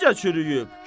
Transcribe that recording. Necə çürüyüb?